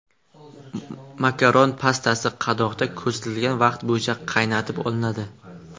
Makaron pastasi qadoqda ko‘rsatilgan vaqt bo‘yicha qaynatib olinadi.